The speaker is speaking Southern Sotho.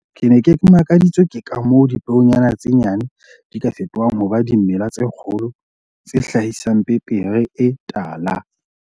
"Ke ne ke makaditswe ke ka moo dipeonyana tse nyane di ka fetohang ho ba dimela tse kgolo tse hlahisang pepere e tala."